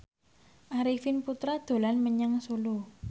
Arifin Putra dolan menyang Solo